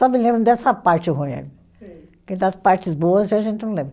Só me lembro dessa parte ruim aí. Sei. Porque das partes boas a gente não lembra.